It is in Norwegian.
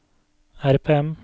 RPM